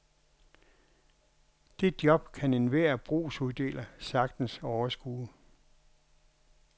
Det job kan enhver brugsuddeler sagtens overskue.